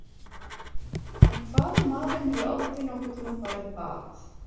En hvað ef maðurinn hefur aldrei nokkurn tímann farið í bað?